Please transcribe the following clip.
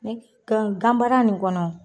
Ne k kaa gan baara nin kɔnɔ